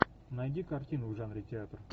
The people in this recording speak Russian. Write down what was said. найди картину в жанре театр